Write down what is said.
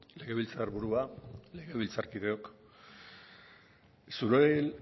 legebiltzar burua legebiltzarkideok zure